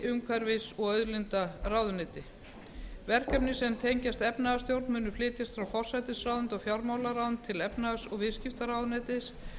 umhverfis og auðlindaráðuneyti verkefni sem tengjast efnahagsstjórn munu flytjast frá forsætisráðuneyti og fjármálaráðuneyti til efnahags og viðskiptaráðuneytis